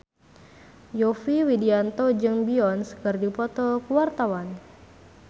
Yovie Widianto jeung Beyonce keur dipoto ku wartawan